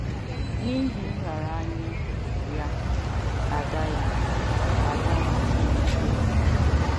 N’ihi nraranye ya, Ada ya, Ada nwere nnukwu ekele.